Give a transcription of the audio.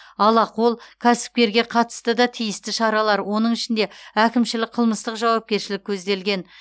алақол кәсіпкерге қатысты да тиісті шаралар оның ішінде әкімшілік қылмыстық жауапкершілік көзделген